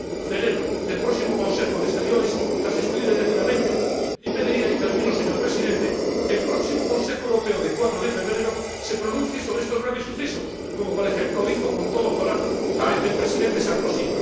Celebro que el próximo Consejo de Asuntos Exteriores las estudie detenidamente y pediría, y termino, señor Presidente, que el próximo Consejo Europeo del 4 de febrero se pronuncie sobre estos graves sucesos, como por ejemplo hizo, con todo coraje, el Presidente Sarkozy.